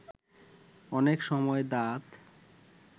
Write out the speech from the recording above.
অনেক সময় দাঁত